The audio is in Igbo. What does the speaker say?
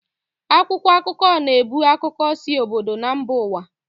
Akwụkwọ akụkọ na-ebu akụkọ si obodo na mba ụwa